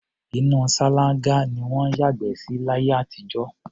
Inú ṣáláńgá ni wọ́n ń yàgbẹ́ sí láyé àtijọ́.